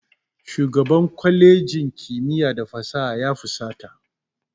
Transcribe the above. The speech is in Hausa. Shugaban kwalejin kimiyya da fasaha ya fusata.